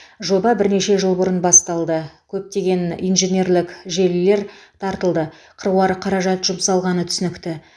жоба бірнеше жыл бұрын басталды көптеген инженерлік желілер тартылды қыруар қаражат жұмсалғаны түсінікті